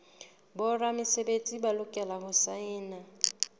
boramesebetsi ba lokela ho saena